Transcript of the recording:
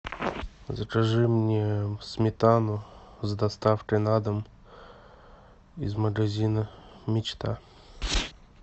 закажи мне сметану с доставкой на дом из магазина мечта